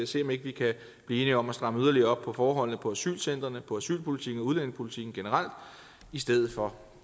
se om ikke vi kan blive enige om at stramme yderligere op på forholdene på asylcentrene på asylpolitikken og udlændingepolitikken generelt i stedet for